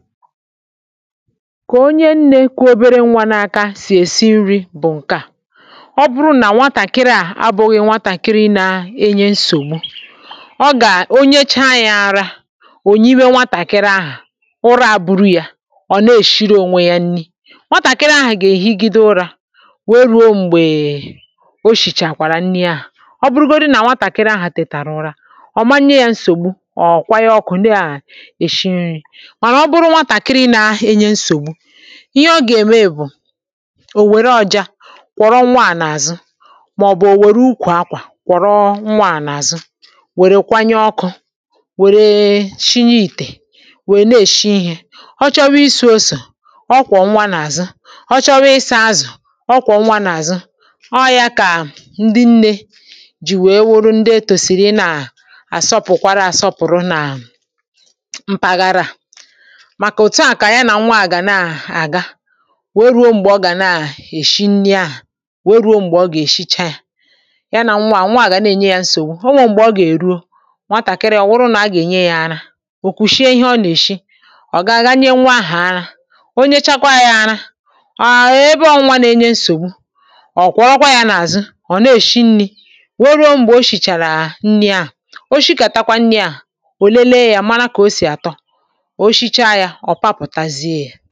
ka onye nnė kà o obere nwa n’aka sì esi nri̇ bụ̀ ǹke à ọ bụrụ nà nwatàkịrị à abụghị̇ nwatàkịrị nȧ-enye nsògbu ọ gà-onyecha yȧ arȧ ò nyiwe nwatàkịrị ahụ̀ ụra à buru yȧ ọ̀ na-èshiri ònwe yȧ nni nwatàkịrị ahụ̀ gà-èhigide ụrȧ wee ruo m̀gbèè o shìchàkwàrà nni ahụ̀ ọ bụrụgodi nà nwatàkịrị ahụ̀ tètàrà ụra ọ manye yȧ nsògbu ọ̀ kwaya ọkụ̇ ndị à èshi nri ihe ọ gà-ème bụ̀ ò wère ọ̀ja kwọ̀rọ nwaà n’àzụ màọ̀bụ̀ ò wère ukwù akwà kwọ̀rọ nwaà n’àzụ wère kwanye ọkụ̇ wère sinye ìtè wèe na-èshi ihė ọ chọrọ isi̇i̇ e osò ọ kwọ̀ nwa n’àzụ, ọ chọrọ isi̇i̇ azụ̀ ọ kwọ̀ nwa n’àzụ ọ yȧ kà ndị nnė jì wèe wòrò ndị e tòsìrì nà àsọpụ̀kwara asọpụ̀rụ nà mpàgara à òtuà kà à ya nà nwaà gà na-àga we ruo m̀gbè ọ gà na-èshi nni̇ ahụ̀ we ruo m̀gbè ọ gà-èshicha yȧ ya nà nwaà nwaà gà na-ènye yȧ nsògbu ọ nwė m̀gbè ọ gà-èruo nwatàkiri ọ̀ wụrụ nà a gà-ènye yȧ anȧ okwùshie ihe ọ nà-èshi ọ̀ gaghị nye nwa ahụ̀ anȧ onyechakwa yȧ ana àà ebe ọnwa nȧ-enye nsògbu ọ̀ kwakwa ya n’àzụ ọ̀ na-èshi nni̇ we ruo m̀gbè o shìchàrà nni̇ ahụ̀ o shikà takwa nni à ò lelee yȧ mara kà o sì àtọ ǹkẹ̀ ọ kpàpụ̀tàzie